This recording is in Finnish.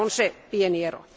Tässä on se pieni ero.